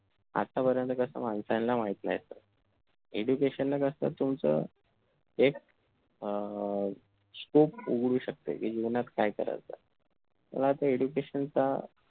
आतापर्यंत कस माणसांला माहित नसतं education ला कस तुमचं एक अह scope उघडू शकते कि जीवनात काय करायच तेव्हा त्या education चा